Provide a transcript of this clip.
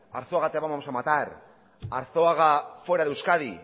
arzuaga te vamos a matar arzuaga fuera de euskadi